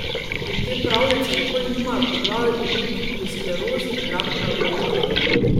In te pravljice nikoli nimajo poglavij o multipli sklerozi in raku na dojkah.